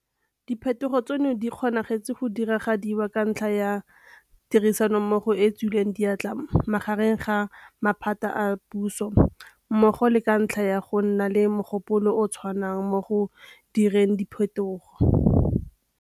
Diphetogo tseno di kgonagetse gore di diragadiwe ka ntlha ya tirisanommogo e e tswileng diatla magareng ga maphata a puso mmogo le ka ntlha ya go nna le mogopolo o o tshwanang mo go direng diphetogo.